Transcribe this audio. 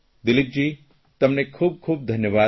દિલીપજી તમને ખૂબખૂબ ધન્યવાદ